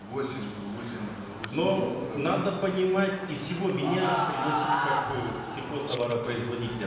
восемь э восемь э восемь но надо понимать из чего меня пригласили как э сельхозтоваропроизводителя